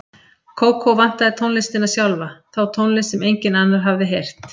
Kókó vantaði tónlistina sjálfa, þá tónlist sem enginn annar hafði heyrt.